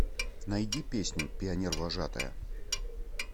найди песню пионервожатая